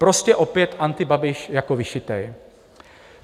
Prostě opět antiBabiš jako vyšitý.